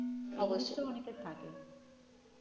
অবশ্যই অনেকের থাকে